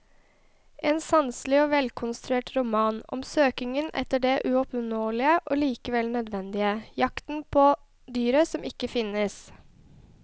En sanselig og velkonstruert roman om søkingen etter det uoppnåelige og likevel nødvendige, jakten på dyret som ikke finnes.